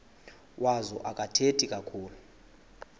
wazo akathethi kakhulu